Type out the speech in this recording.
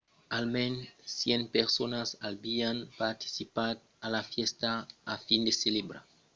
almens 100 personas avián participat a la fèsta a fin de celebrar lo primièr aniversari d’un couple que son maridatge s'èra tengut l’an passat